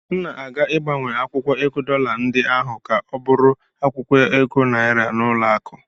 M na-aga ịgbanwe akwụkwọ ego dọla ndị ahụ ka ha bụrụ akwụkwọ ego naịra n'ụlọakụ.